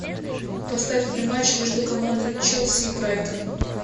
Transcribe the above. поставь мне матч между командами челси и брайтон